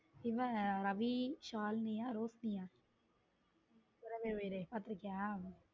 இது ரவி ஷால்னியா ரோஷினிய உறவே உயிரே பார்த்திருக்கியா.